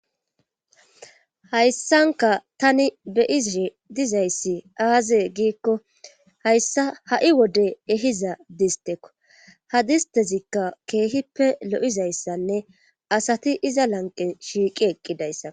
hayssanka tani beyize dizayssi aaze giikko hayssa ha7i wode ehiza distekko ha distezikka keehippe lo7izayssanne asati iza lanqe shiiqi eqqidayssa